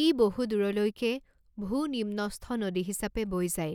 ই বহু দূৰলৈকে ভূনিম্নস্থ নদী হিচাপে বৈ যায়